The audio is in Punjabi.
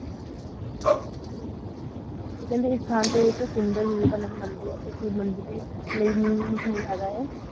ਤੇ ਕਹਿੰਦੇ ਇਥੇ ਮੰਦਿਰ ਮਸ਼ਹੂਰ ਹੈਗਾ